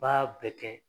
Baa bɛ kɛ